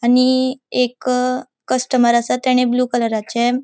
आणि एक कस्टमर आसा तेने ब्लू कलराचे ----